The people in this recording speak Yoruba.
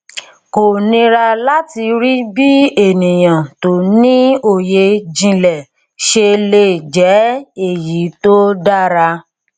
kò nírà láti rí bí ènìyàn tí ó ní òye jìnlẹ ṣe le jẹ èyí tó dára